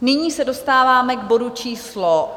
Nyní se dostáváme k bodu číslo